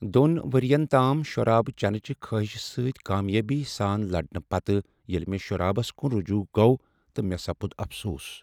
دۄن ؤرۍیَن تام شراب چینہٕ چہ خٲہشہ سۭتۍ کامیٲبی سان لڑنہٕ پتہٕ ییٚلہ مےٚ شرابس کن رجوع گوٚو تہٕ مےٚ سپُد افسوس۔